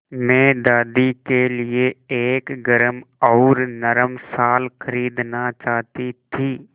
मैं दादी के लिए एक गरम और नरम शाल खरीदना चाहती थी